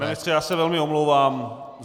Pane ministře, já se velmi omlouvám.